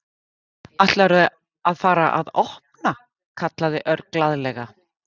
Ætlarðu að fara að opna? kallaði Örn glaðlega.